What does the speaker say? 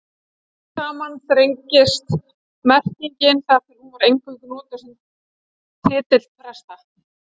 Smám saman þrengist merkingin þar til hún var eingöngu notuð sem titill presta.